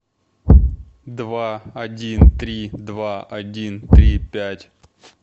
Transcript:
два один три два один три пять